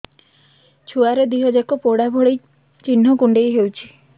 ଛୁଆର ଦିହ ଯାକ ପୋଡା ଭଳି ଚି଼ହ୍ନ କୁଣ୍ଡେଇ ହଉଛି